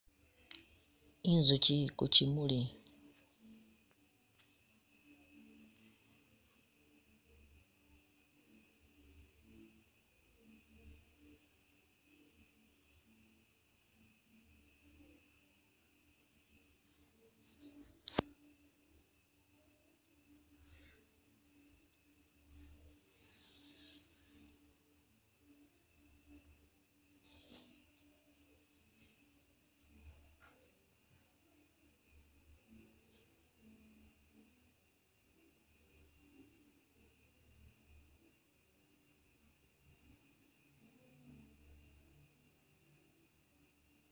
Inzukyi ili ku kyimali.